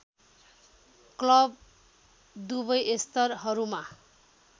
club दुवै स्तरहरूमा